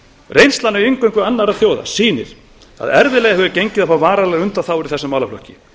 reynslan af inngöngu annarra þjóða sýnir að erfiðlega hefur gengið að fá varanlegar undanþágur í þessum málaflokki